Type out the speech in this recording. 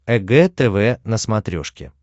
эг тв на смотрешке